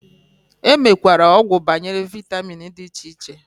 Enwekwere ogwu banyere vitamin di iche iche.